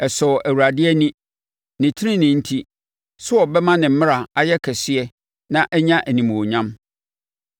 Ɛsɔɔ Awurade ani ne tenenee enti sɛ ɔbɛma ne mmara ayɛ kɛseɛ na anya animuonyam.